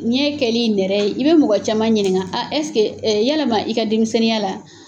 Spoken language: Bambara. Ɲɛ kɛli nɛrɛ ye, i bɛ mɔgɔ caman ɲininga ɛseke yalama i ka denmisɛnninya la